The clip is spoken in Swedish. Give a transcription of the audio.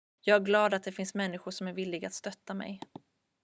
jag är glad att det finns människor som är villiga att stötta mig